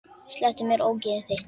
Slepptu mér, ógeðið þitt!